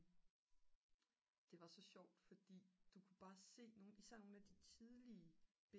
det var sjovt fordi du kunne bare se især nogle af de tidlige